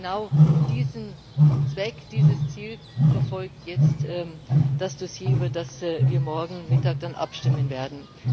Und genau diesen Zweck, dieses Ziel verfolgt jetzt das, worüber wir morgen Mittag dann abstimmen werden.